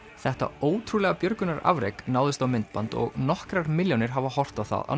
þetta ótrúlega björgunarafrek náðist á myndband og nokkrar milljónir hafa horft á